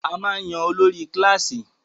A máa ń yan olórí kílàsì.